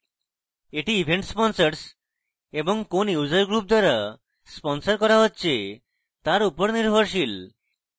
এটি events sponsors এবং কোন user group দ্বারা sponsored করা হচ্ছে তার user নির্ভরশীল